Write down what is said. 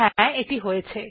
হ্যা এটি হয়েছে